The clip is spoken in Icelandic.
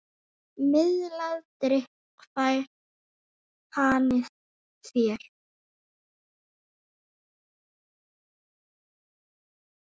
Miðlað drykk fær hani þér.